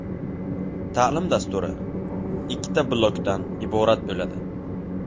Ta’lim dasturi ikkita blokdan iborat bo‘ladi.